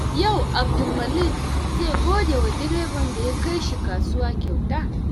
Yau, Abdulmalik zai gode wa direban da ya kai shi kasuwa kyauta.